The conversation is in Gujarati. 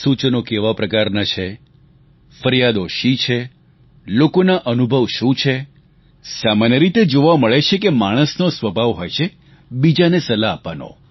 સૂચનો કેવા પ્રકારનાં છે ફરિયાદો શી છે લોકોના અનુભવ શું છે સામાન્ય રીતે જોવા મળે છે કે માણસનો સ્વભાવ હોય છે બીજાને સલાહ આપવાનો